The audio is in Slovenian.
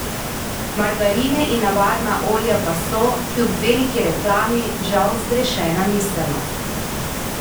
Margarine in navadna olja pa so, kljub veliki reklami, žal zgrešena miselnost.